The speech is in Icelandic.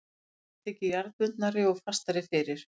Rein þykir jarðbundnari og fastari fyrir.